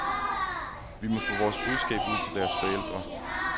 Vi må få vores budskab ud til deres forældre.